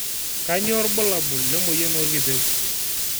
kanyio irbulabul le moyian orkipeu